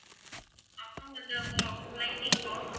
அப்பறம் அந்த lighting box